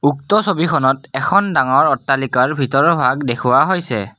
উক্ত ছবিখনত এখন ডাঙৰ অট্টালিকাৰ ভিতৰৰ ভাগ দেখুওৱা হৈছে।